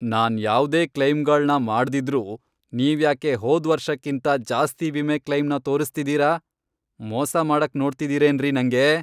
ನಾನ್ ಯಾವ್ದೇ ಕ್ಲೈಮ್ಗಳ್ನ ಮಾಡ್ದಿದ್ರೂ ನೀವ್ಯಾಕೆ ಹೋದ್ವರ್ಷಕ್ಕಿಂತ ಜಾಸ್ತಿ ವಿಮೆ ಕ್ಲೈಮ್ನ ತೋರಿಸ್ತಿದೀರ? ಮೋಸ ಮಾಡಕ್ ನೋಡ್ತಿದಿರೇನ್ರಿ ನಂಗೆ?